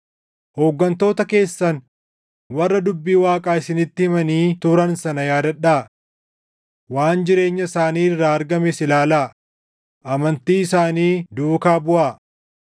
Hooggantoota keessan warra dubbii Waaqaa isinitti himanii turan sana yaadadhaa. Waan jireenya isaanii irraa argames ilaalaa; amantii isaanii duukaa buʼaa.